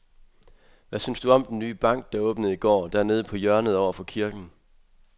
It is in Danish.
Hvad synes du om den nye bank, der åbnede i går dernede på hjørnet over for kirken?